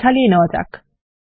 একবার ঝালিয়ে নেওয়া যাক